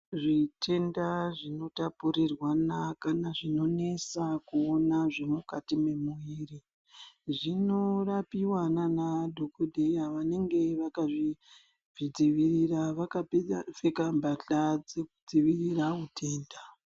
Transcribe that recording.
Zvitenda zvinotapurirwana kana zvinonesa kuona zviri mukati memuiri, zvinorapiwa nana dhokodheya vanenge vakazvidzivirira vakapfeka mphahla dzekudzivirira utenda.